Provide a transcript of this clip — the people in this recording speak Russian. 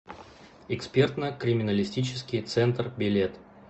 экспертно криминалистический центр билет